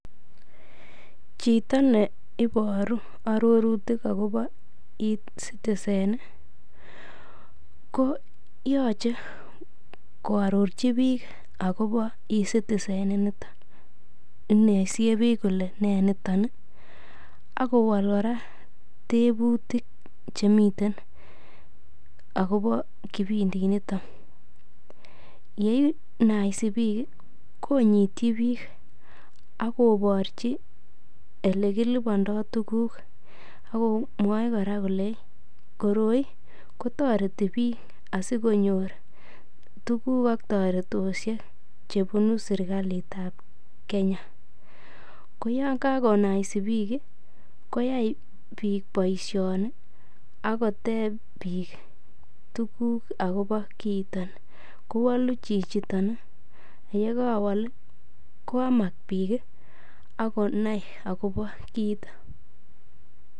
Chito ne iboru arorutik agobo E-Citizen koyoche koarorji biik agobo E-Citizen inito, inoisie biik kole nee niton ak kowol kora tebutik che miten agobo kipindinito. Ye inaisi biik konyityi biik ak kobrchi ele kilipondo tuguk. Ak komwochi kora kole koroi kotoreti biikasikonyor tuguk ak toretoshek che bunu serkalit ab Kenya. Ko yon kagonaisi biiik, koyai biik boisioni ak koteb biik tuguk agobo kiiton kowolu chichiton, ye kawol koyamak biik ak konai agobo kiito.